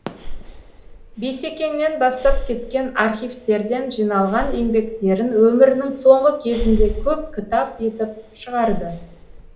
бейсекеңнен бастап кеткен архифтерден жиналған еңбектерін өмірінің соңғы кезінде көп кітап етіп шығарды